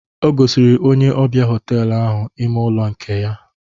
O gosiri onye ọbịa họtelu ahụ ime ụlọ nke ya.